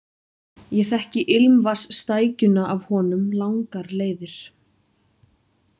Ég þekki ilmvatnsstækjuna af honum langar leiðir.